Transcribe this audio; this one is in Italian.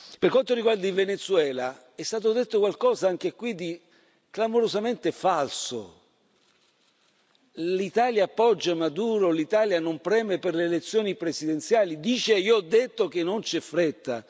Per quanto riguarda il Venezuela, è stato detto qualcosa anche qui di clamorosamente falso che l'Italia appoggia Maduro, che l'Italia non preme per le elezioni presidenziali, che io ho detto che non c'è fretta.